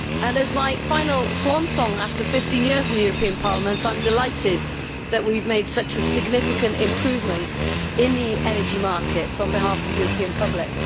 This is my swan song after 15 years in the European Parliament, and I am delighted that we have made such a significant improvement in the energy markets on behalf of the European public.